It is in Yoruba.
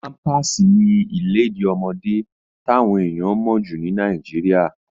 Pámpàsì ni ìlèdí ọmọdé táwọn èèyàn mọ̀ jù ní Nàìjíríà.